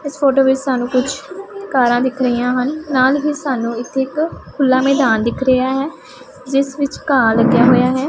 ਇਸ ਫੋਟੋ ਵਿੱਚ ਸਾਨੂੰ ਕੁਛ ਕਾਰਾਂ ਦਿਖ ਰਹੀਆਂ ਹਨ ਨਾਲ ਹੀ ਸਾਨੂੰ ਇੱਥੇ ਇੱਕ ਖੁੱਲਾ ਮੈਦਾਨ ਦਿਖ ਰਿਹਾ ਹੈ ਜਿਸ ਵਿੱਚ ਘਾਹ ਲੱਗਿਆ ਹੋਇਆ ਹੈ।